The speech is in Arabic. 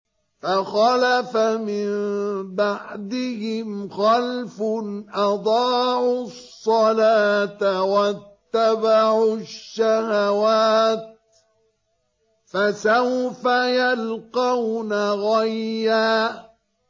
۞ فَخَلَفَ مِن بَعْدِهِمْ خَلْفٌ أَضَاعُوا الصَّلَاةَ وَاتَّبَعُوا الشَّهَوَاتِ ۖ فَسَوْفَ يَلْقَوْنَ غَيًّا